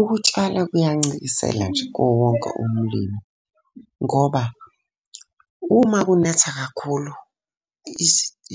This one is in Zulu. Ukutshala kuyancikisela nje kuwo wonke umlimi. Ngoba uma kunetha kakhulu,